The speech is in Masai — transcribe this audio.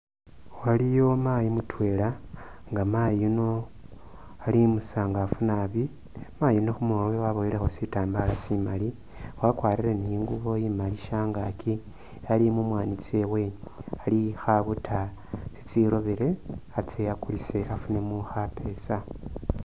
Waliyo mayi mutwela nga mayi yuno ali umusangafu naabi mayi yuno khumurwe waboyelekho shitambala shimali wakwarile niingubo imali shangaki ali mumwanyi tsewe ali khabuta tsirobele atse akulise afunemo khapeesa.